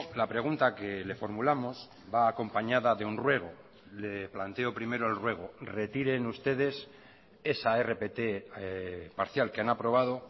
la pregunta que le formulamos va acompañada de un ruego le planteo primero el ruego retiren ustedes esa rpt parcial que han aprobado